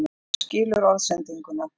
Hann skilur orðsendinguna.